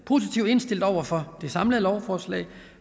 positivt indstillet over for det samlede lovforslag